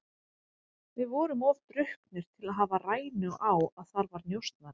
Við vorum of drukknir til að hafa rænu á að þar var njósnari.